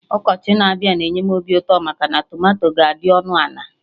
Ọkọchị na-abịa na-enye m obi ụtọ maka tomato ga-adị ọnụ ana